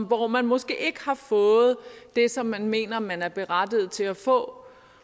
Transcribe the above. hvor man måske ikke har fået det som man mener man er berettiget til at få